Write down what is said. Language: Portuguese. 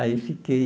Aí fiquei...